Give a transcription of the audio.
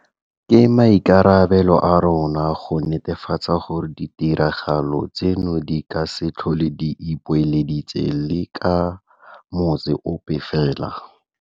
Ke maikarabelo a rona go netefatsa gore ditiragalo tseno di ka se tlhole di ipoeleditse le ka motsi ope fela.